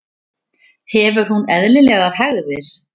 Hefur hún eðlilegar hægðir?